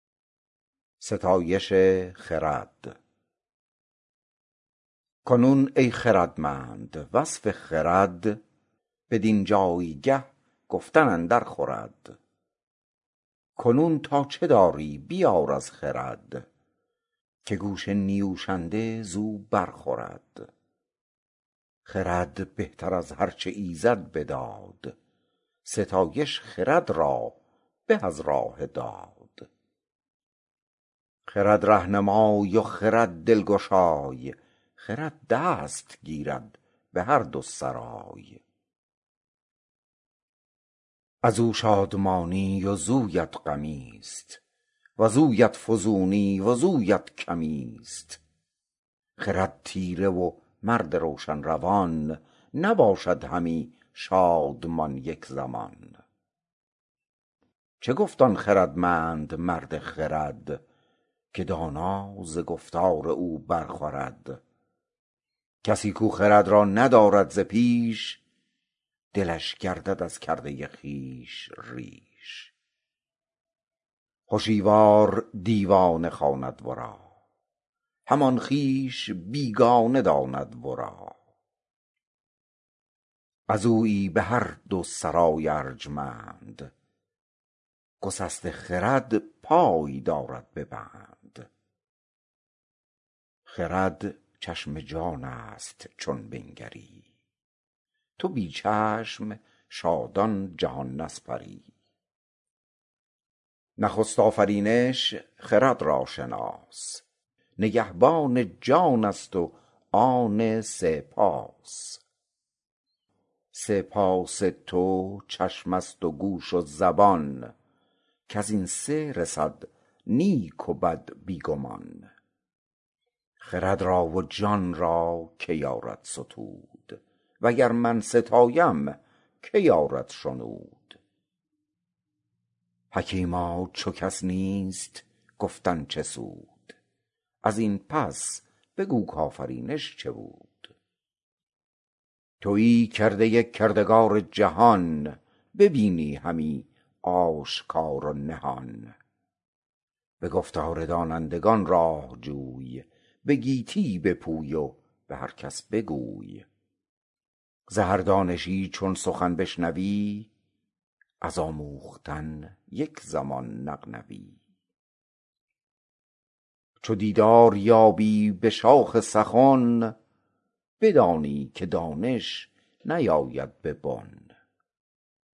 کنون ای خردمند وصف خرد بدین جایگه گفتن اندر خورد کنون تا چه داری بیار از خرد که گوش نیوشنده زو بر خورد خرد بهتر از هر چه ایزد بداد ستایش خرد را به از راه داد خرد رهنمای و خرد دلگشای خرد دست گیرد به هر دو سرای از او شادمانی وزویت غمی است وزویت فزونی وزویت کمی است خرد تیره و مرد روشن روان نباشد همی شادمان یک زمان چه گفت آن خردمند مرد خرد که دانا ز گفتار او بر خورد کسی کو خرد را ندارد ز پیش دلش گردد از کرده خویش ریش هشیوار دیوانه خواند ورا همان خویش بیگانه داند ورا از اویی به هر دو سرای ارجمند گسسته خرد پای دارد به بند خرد چشم جان است چون بنگری تو بی چشم شادان جهان نسپری نخست آفرینش خرد را شناس نگهبان جان است و آن سه پاس سه پاس تو چشم است و گوش و زبان کز این سه رسد نیک و بد بی گمان خرد را و جان را که یارد ستود و گر من ستایم که یارد شنود حکیما چو کس نیست گفتن چه سود از این پس بگو کآفرینش چه بود تویی کرده کردگار جهان ببینی همی آشکار و نهان به گفتار دانندگان راه جوی به گیتی بپوی و به هر کس بگوی ز هر دانشی چون سخن بشنوی از آموختن یک زمان نغنوی چو دیدار یابی به شاخ سخن بدانی که دانش نیاید به بن